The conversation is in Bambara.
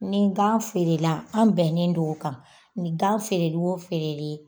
Ni gan feerela, an bɛnnen don kan, ni gan feereli o feereli